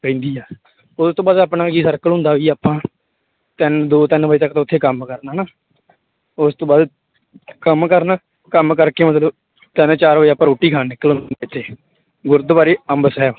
ਰਹਿੰਦੀ ਆ ਉਹ ਤੋਂ ਬਾਅਦ ਆਪਣਾ ਕੀ circle ਹੁੰਦਾ ਵੀ ਆਪਾਂ ਤਿੰਨ ਦੋ ਤਿੰਨ ਵਜੇ ਤੱਕ ਤਾਂ ਉੱਥੇ ਕੰਮ ਕਰਨਾ ਹਨਾ, ਉਸ ਤੋਂ ਬਾਅਦ ਕੰਮ ਕਰਨਾ, ਕੰਮ ਕਰਕੇ ਮਤਲਬ ਤਿੰਨ ਚਾਰ ਵਜੇ ਆਪਾਂ ਰੋਟੀ ਖਾਣ ਨਿਕਲ ਇੱਥੇ ਗੁਰਦੁਆਰੇ ਅੰਬਰ ਸਾਹਿਬ